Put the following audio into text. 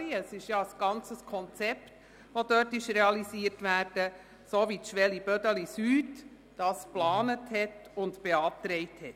Dort soll ein umfassendes Konzept realisiert werden, so wie es die Schwellenkooperation Bödeli Süd geplant und beantragt hat.